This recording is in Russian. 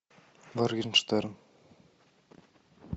моргенштерн